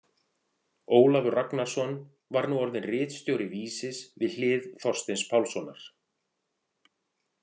Ólafur Ragnarsson var nú orðinn ritstjóri Vísis við hlið Þorsteins Pálssonar.